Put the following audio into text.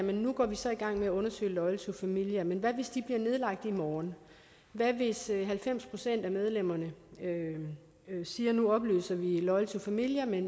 nu går vi så i gang med at undersøge loyal to familia men hvad hvis de bliver nedlagt i morgen hvad hvis halvfems procent af medlemmerne siger at nu opløser de loyal to familia